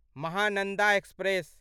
Mahananda express